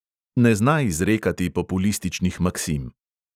Ne zna izrekati populističnih maksim.